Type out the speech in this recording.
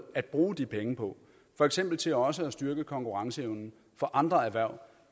at bruge de penge på for eksempel til også at styrke konkurrenceevnen for andre erhverv